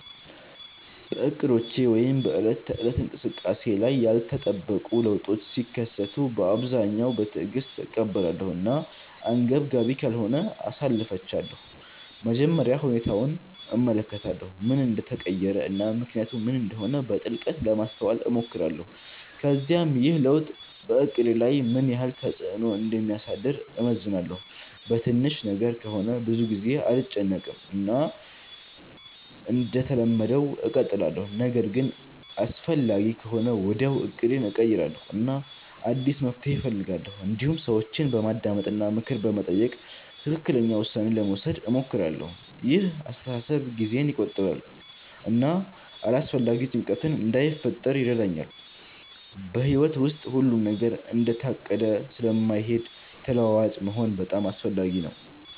በእቅዶቼ ወይም በዕለት ተዕለት እንቅስቃሴዬ ላይ ያልተጠበቁ ለውጦች ሲከሰቱ በአብዛኛው በትዕግስት እቀበላለሁ እና አንገብጋቢ ካልሆነ አሳልፊቻለሁ መጀመሪያ ሁኔታውን እመለከታለሁ ምን እንደተቀየረ እና ምክንያቱ ምን እንደሆነ በጥልቀት ለማስተዋል እሞክራለሁ ከዚያም ይህ ለውጥ በእቅዴ ላይ ምን ያህል ተፅዕኖ እንደሚያሳድር እመዝናለሁ በትንሽ ነገር ከሆነ ብዙ ጊዜ አልጨነቅም እና እንደተለመደው እቀጥላለሁ ነገር ግን አስፈላጊ ከሆነ ወዲያውኑ እቅዴን እቀይራለሁ እና አዲስ መፍትሔ እፈልጋለሁ እንዲሁም ሰዎችን በማዳመጥ እና ምክር በመጠየቅ ትክክለኛ ውሳኔ ለመውሰድ እሞክራለሁ ይህ አስተሳሰብ ጊዜን ይቆጥባል እና አላስፈላጊ ጭንቀት እንዳይፈጥር ይረዳኛል በሕይወት ውስጥ ሁሉም ነገር እንደታቀደ ስለማይሄድ ተለዋዋጭ መሆን በጣም አስፈላጊ ነው